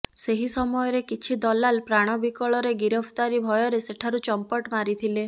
ସେହି ସମୟରେ କିଛି ଦଲାଲ ପ୍ରାଣ ବିକଳରେ ଗିରଫଦାରୀ ଭୟରେ ସେଠାରୁ ଚମ୍ପଟ ମାରିଥିଲେ